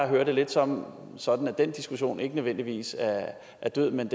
hører det lidt sådan sådan at den diskussion ikke nødvendigvis er død men